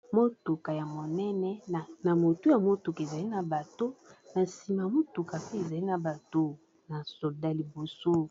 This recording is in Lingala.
Motuka ya monene na motu ya motuka ezali na bato na nsima motuka pe ezali na bato na soda liboso.